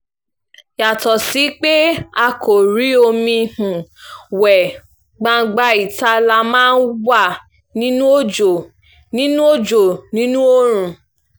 yàtọ̀ sí pé a kò rí omi um wé gbangba ìta la um máa ń wà nínú òjò nínú òjò nínú oòrùn